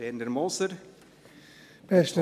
Werner Moser hat das Wort.